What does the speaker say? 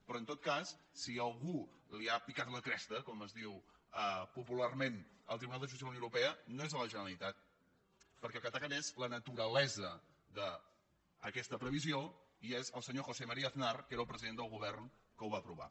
però en tot cas si a algú li ha picat la cresta com es diu popular·ment el tribunal de justícia de la unió europea no és a la generalitat perquè el que ataquen és la naturalesa d’aquesta previsió i és el senyor josé maría aznar que era el president del govern que ho va aprovar